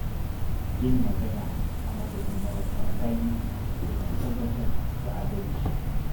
Yin magana a madadin marasa galihu yana tabbatar da adalci.